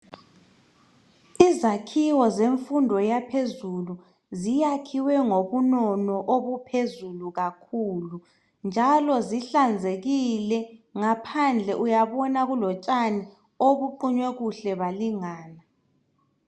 Izakhiwo zemfundo yaphezulu ziyakhiwe ngobunono obuphezulu kakhulu njalo zihlanzekile. Ngaphandle uyabona kulotshani obuqunywe kuhle balingana.